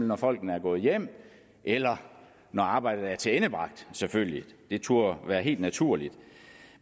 når folkene er gået hjem eller når arbejdet er tilendebragt selvfølgelig det turde være helt naturligt